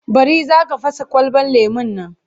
Bari! Za ka fasa kwalabar lemon nan.